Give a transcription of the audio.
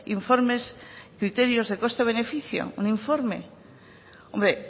informes criterios de coste beneficio un informe hombre